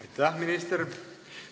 Aitäh, minister!